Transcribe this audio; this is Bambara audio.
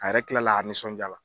A yɛrɛ kila la ka nisɔndiya.